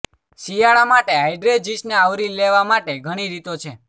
શિયાળા માટે હાઇડ્રેજિસને આવરી લેવા માટે ઘણી રીતો છે